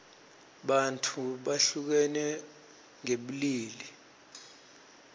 bantfu behlukene ngebulili